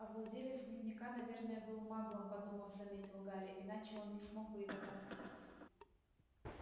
а владелец дневника наверное был маглом подумав заметил гарри иначе он не смог бы его там купить